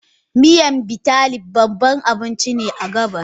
Miyan Bitterleaf babbar abinci ce a gabas.